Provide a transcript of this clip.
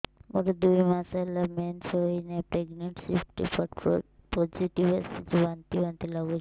ମୋର ଦୁଇ ମାସ ହେଲା ମେନ୍ସେସ ହୋଇନାହିଁ ପ୍ରେଗନେନସି ରିପୋର୍ଟ ପୋସିଟିଭ ଆସିଛି ବାନ୍ତି ବାନ୍ତି ଲଗୁଛି